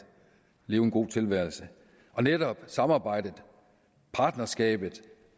leve en god tilværelse netop det samarbejde det partnerskab